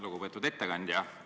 Lugupeetud ettekandja!